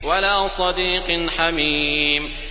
وَلَا صَدِيقٍ حَمِيمٍ